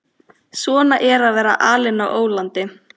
Svona er að vera alinn á ólandi.